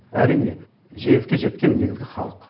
әрине жеңіске жеткен негізгі халық